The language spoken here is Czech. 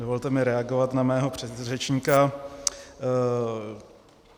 Dovolte mi reagovat na mého předřečníka.